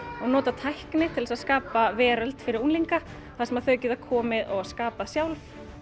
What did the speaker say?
og nota tækni til þess að skapa veröld fyrir unglinga þar sem þau geta komið og skapað sjálf